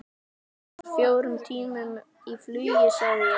Munar fjórum tímum í flugi sagði ég.